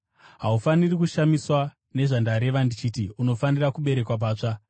Haufaniri kushamiswa nezvandareva ndichiti, ‘Unofanira kuberekwa patsva.’